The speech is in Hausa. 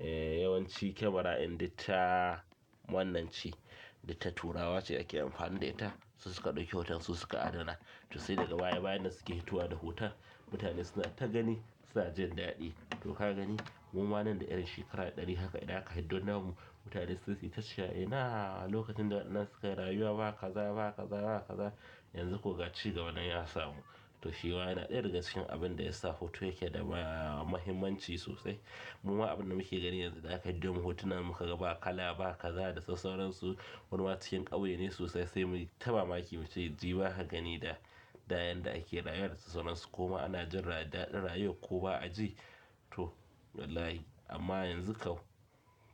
eh yawanci kyamara ɗin duk ta wannan ce duk ta turawa ce ake amfani da ita. Su suka ɗauki hoton su suka adana. To sai daga baya bayan nan suke fitowa da hoton. Mutane suna ta gani suna jin daɗi. To ka gani muma nan da ƴan shekara ɗari haka idan aka hiddo namu mutane sai sita yewa. Inahh! Lokacin da wannan suka yi rayuwa ba kaza ba kaza ba kaza yanzu kwa cigaba nan ya samu. To shi ma yana ɗaya daga cikin abin da yasa hoto yake da mahimmanci sosai. Muman abin da muke gani yanzu idan aka hiddo mamu hotunan muka ga ba kala ba kaza da sassauransu wani ma cikin ƙauye ne sosai sai mu yi ta mamaki mu ce jiba ka gani da, da yanda ake rayuwa da sassauransu. Kuma ana jin daɗin rayuwar ko ba a ji. To wallahi amma yanzu kau